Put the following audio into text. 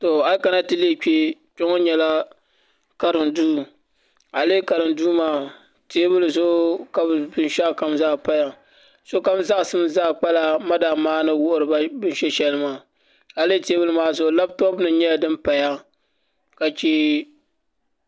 To a yi kana ti lihi kpɛ kpɛ ŋo nyɛla karim duu a yi lihi karim duu maa teebuli zuɣu ka bi binshaɣu kam zaa paya sokam zaɣasim kpala madaam maa ni wuhiriba bin shɛ shɛli maa a lihi teebuli maa zuɣu labtop nim nyɛla din paya ka chɛ